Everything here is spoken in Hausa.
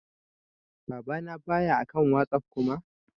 Baba na ba ya akan WhatsApp Kuma.